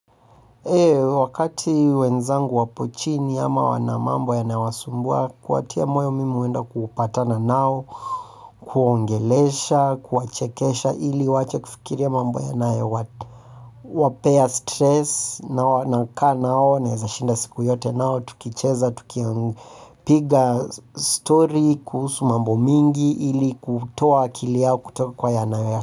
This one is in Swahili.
Ile wakati wenzangu wapo chini ama wana mambo yanawasumbua, kuwatia moyo mimi huenda kupatana nao kuwaongelesha, kuwachekesha ili waache kufikiria mambo yanayowapea stress na wana kaa nao nawezashinda siku yote nao tukicheza, tukipiga stori kuhusu mambo mingi ili kutoa akili yao kutoka kwa yanayo ya.